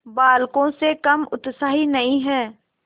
बालकों से कम उत्साही नहीं है